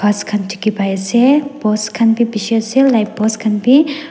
ghas khan dikhipaiase post khan bi bishi ase light post khan bi.